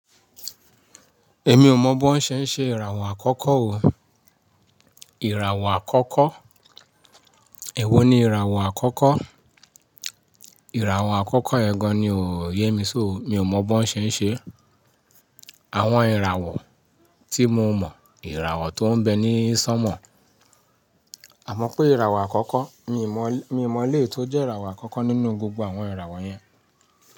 Èmi ò mọ̀ bó ń ṣe ń ṣe ìràwọ̀ àkọ́kọ́ o. Ìràwọ̀ àkọ́kọ́? Ẹ̀wo ni ìràwọ̀ àkọ́kọ́? Ìràwọ̀ àkọ́kọ́ ẹ́ gan ni o, yé mi sóo, mi ò mọ̀ bó ń ṣe ń ṣe. Àwọn ìràwọ̀ tí mo mọ̀, ìràwọ̀ tó ń bẹ ní sọ́mọ̀. Àmọ́ pé ìràwọ̀ àkọ́kọ́, mi ò mọ̀, mi ò mọ̀ éleyi tó jẹ́ ìràwọ̀ àkọ́kọ́ nínú gbogbo àwọn ìràwọ̀ yẹn.